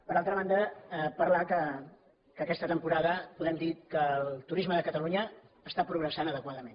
per altra banda parlar que aquesta temporada podem dir que el turisme de catalunya està progressant adequadament